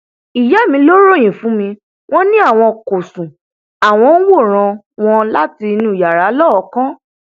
ìyá mi ló ròyìn fún mi wọn ni àwọn kò sún àwọn ń wòran wọn láti inú yàrá lọọọkán